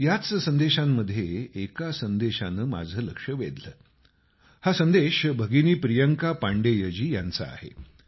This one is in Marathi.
याच संदेशांमध्ये एका संदेशानं माझं लक्ष वेधलं हा संदेश भगिनी प्रियंका पांडेयजी यांचा आहे